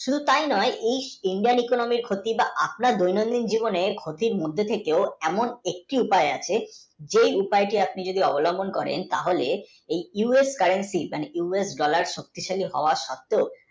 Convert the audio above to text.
শুধু তাই নয় উম Indian, economy র ক্ষতি বা আপনার নিয়মিত জীবনের ক্ষতি এমন একটি উপায় আছে যেই উপায়টা যদি আপনি অবলম্বন করেন তাহলে এই US currency মানে US dollar শক্তিশালী হওয়া সত্তেও